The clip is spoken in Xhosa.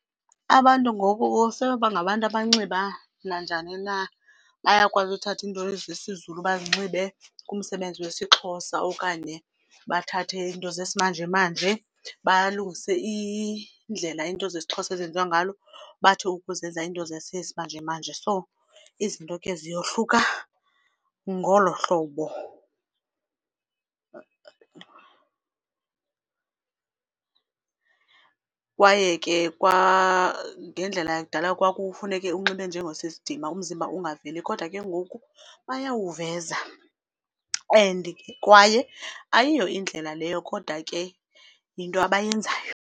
Abantu ngoku sebebangabantu abanxiba nanjani na bayakwazi uthatha into zesiZulu bazinxibe kumsebenzi wesiXhosa okanye bathathe into zesimanjemanje balungise indlela into zesiXhosa ezenziwa ngalo bathi ukuzenza into zesimanjemanje so izinto ke ziyohluka ngolo hlobo . Kwaye ke kwangendlela yakudala kwakufuneke unxibe njengosisidima umzimba ungaveli kodwa ke ngoku bayawuveza and kwaye ayiyo indlela leyo kodwa ke yinto abayenzayo.